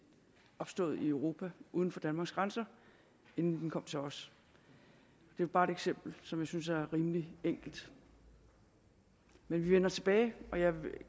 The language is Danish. opstået i europa uden for danmarks grænser inden den kom til os det er bare et eksempel som jeg synes er rimelig enkelt men vi vender tilbage og jeg vil